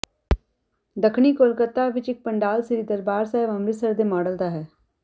ਦੱਖਣੀ ਕੋਲਕਾਤਾ ਵਿਚ ਇਕ ਪੰਡਾਲ ਸ੍ਰੀ ਦਰਬਾਰ ਸਾਹਿਬ ਅੰਮ੍ਰਿਤਸਰ ਦੇ ਮਾਡਲ ਦਾ ਹੈ